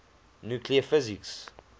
nuclear physics